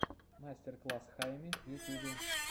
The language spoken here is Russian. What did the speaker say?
мастер класс хайми в ютюбе